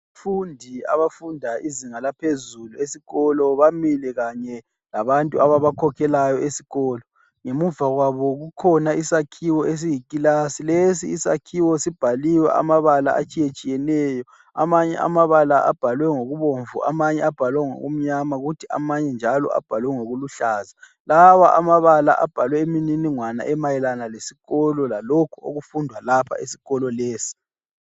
Abafundi abafunda izinga laphezulu esikolo bamile kanye labantu ababakhokhelayo esikolo. Ngemuva kwabo kukhona isakhiwo esiyikilasi. Lesi isakhiwo sibhaliwe amabala atshiyetshiyeneyo. Amanye amabala abhalwe ngokubomvu, amanye abhalwe ngokumnyama kuthi amanye njalo abhalwe ngokukuhlaza. Lawa amabala abhalwe imininingwane emayelana lesikolo lalokho okufundwa lapha esikolo lesi.